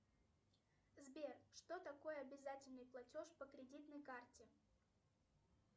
сбер что такое обязательный платеж по кредитной карте